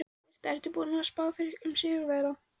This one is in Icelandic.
Birta: Ertu búinn að spá fyrir um sigurvegara?